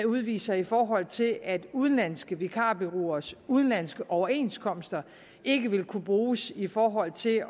udviser i forhold til at udenlandske vikarbureauers udenlandske overenskomster ikke vil kunne bruges i forhold til